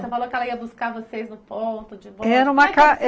Você falou que ela ia buscar vocês no ponto de ir embora. Era uma ca